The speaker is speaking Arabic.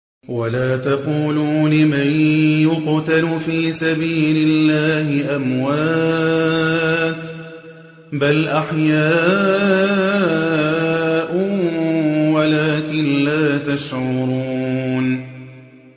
وَلَا تَقُولُوا لِمَن يُقْتَلُ فِي سَبِيلِ اللَّهِ أَمْوَاتٌ ۚ بَلْ أَحْيَاءٌ وَلَٰكِن لَّا تَشْعُرُونَ